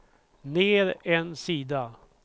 ner en sida